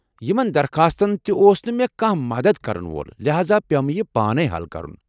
یِمَن درخاستن تہِ اوس نہٕ مےٚ كانہہ مدتھ كرن وول ، لحاذا پیٚو مےٚ یہِ پانے حل کرُن۔